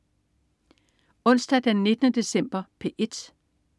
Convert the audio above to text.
Onsdag den 19. december - P1: